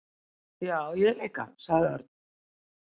"""Já, ég líka sagði Örn."""